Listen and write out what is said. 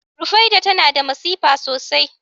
Rufaiɗah tana da masifa sosai